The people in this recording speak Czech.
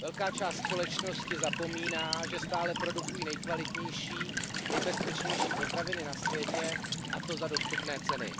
Velká část společnosti zapomíná, že stále produkují nejkvalitnější, nejbezpečnější potraviny na světě, a to za dostupné ceny.